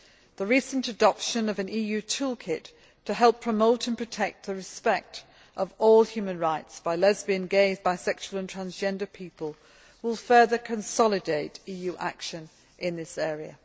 The recent adoption of an EU tool kit to help promote and protect the respect of human rights by lesbian, gay, bisexual and transgender people will further consolidate EU action in this area.